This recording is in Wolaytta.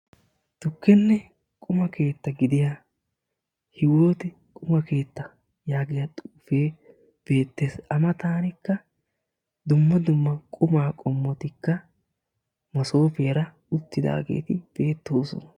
Tukkenne quma keetta gidiyaa Hiwooti qumma keettaa yaagiyaa xuufe beettees; a matankka dumma dumma qumma qommoti masoppiyaara uttidaageeti beettoosona.